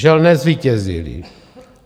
Žel nezvítězily.